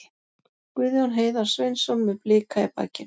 Guðjón Heiðar Sveinsson með Blika í bakinu.